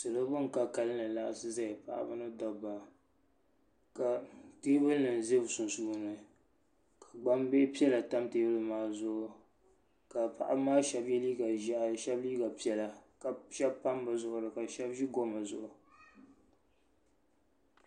Salɔ ban ka kalinli laɣisiʒaya pa ɣiba ni dabba. ka teebuli nim ʒɛ bɛ sunsuuni. gba bihi piɛla tam teebuli maa zuɣu. ka paɣaba maa shebi ye liiga ʒɛhi shebi liiga piɛla ka pam bɛ zuɣuri kashebi goma zuɣu.